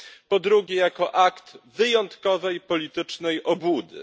Po drugie, jako akt wyjątkowej politycznej obłudy.